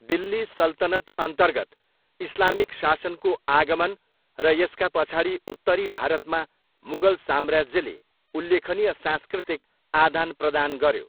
दिल्ली सल्तनतअन्तर्गत इस्लामिक शासनको आगमन र यसका पछाडि उत्तरी भारतमा मुगल साम्राज्यले उल्लेखनीय सांस्कृतिक आदानप्रदान गर्यो।